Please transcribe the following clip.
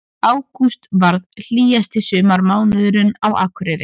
Ágúst varð hlýjasti sumarmánuðurinn á Akureyri